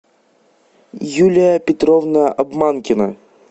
юлия петровна обманкина